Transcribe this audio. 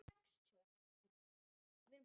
Sá fyrri er strangur en sá síðari blíður.